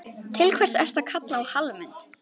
Til hvers ertu að kalla á Hallmund?